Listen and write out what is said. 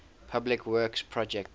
public works projects